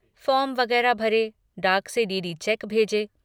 Form वगैरह भरे, डाक से डी. डी. चेक भेजे।